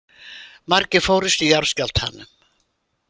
Margir fórust í jarðskjálftanum